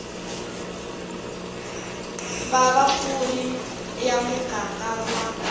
va vapfuni ya muganga wa